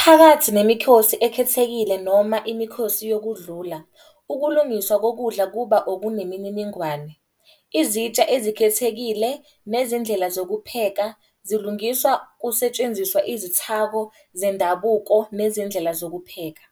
Phakathi nemikhosi ekhethekile noma imikhosi yokudlula, ukulungiswa kokudla kuba okunemininingane. Izitsha ezikhethekile nezindlela zokupheka zilungiswa kusetshenziswa izithako zendabuko nezindlela zokupheka.